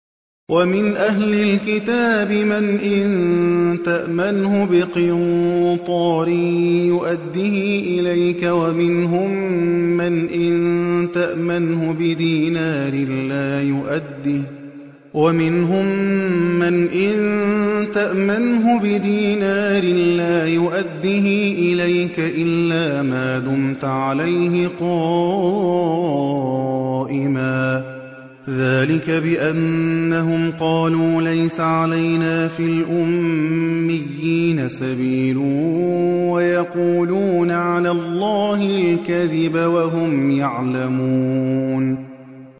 ۞ وَمِنْ أَهْلِ الْكِتَابِ مَنْ إِن تَأْمَنْهُ بِقِنطَارٍ يُؤَدِّهِ إِلَيْكَ وَمِنْهُم مَّنْ إِن تَأْمَنْهُ بِدِينَارٍ لَّا يُؤَدِّهِ إِلَيْكَ إِلَّا مَا دُمْتَ عَلَيْهِ قَائِمًا ۗ ذَٰلِكَ بِأَنَّهُمْ قَالُوا لَيْسَ عَلَيْنَا فِي الْأُمِّيِّينَ سَبِيلٌ وَيَقُولُونَ عَلَى اللَّهِ الْكَذِبَ وَهُمْ يَعْلَمُونَ